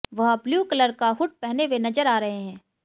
वह blue colour का hood पहने हुए नजर आ रहे हैं